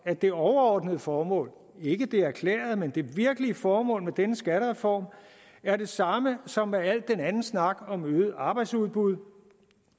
at det overordnede formål ikke det erklærede men det virkelige formål med denne skattereform er det samme som med al den anden snak om øget arbejdsudbud